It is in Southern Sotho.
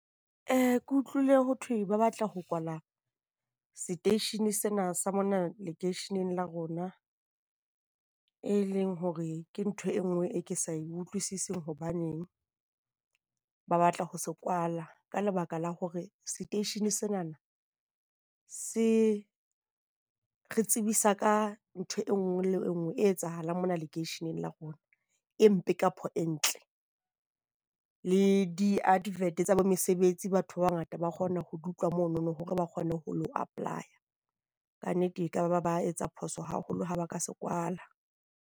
Ke utlwile ho thwe ba batla ho kwala seteishene sena sa mona lekeisheneng la rona, e leng hore ke ntho e nngwe e ke sa utlwisising hobaneng ba batla ho se kwala. Ka lebaka la hore seteishene senana se re tsebisa ka ntho e nngwe le e nngwe e etsahalang mona lekeisheneng la rona. E mpe kapo e ntle le di-advert tsa bo mesebetsi. Batho ba bangata ba kgona ho di utlwa mono hore ba kgone ho apply-a. Kannete ekaba ba etsa phoso haholo ha ba ka se kwala.